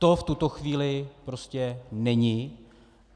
To v tuto chvíli prostě není.